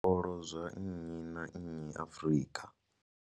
Zwikolo zwa nnyi na nnyi Afrika.